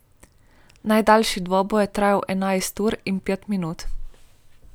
Najdaljši dvoboj je trajal enajst ur in pet minut.